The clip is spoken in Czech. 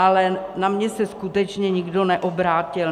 Ale na mě se skutečně nikdo neobrátil.